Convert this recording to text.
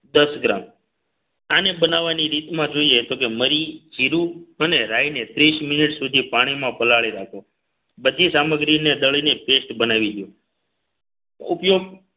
દસ ગ્રામ આને બનાવવાની રીતમાં જોઈએ તો કે મરી જીરુ અને રાઈને ત્રીસ મિનિટ સુધી પાણીમાં પલાળી રાખો બધી સામગ્રીને દળી ને paste બનાવી દો ઉપયોગ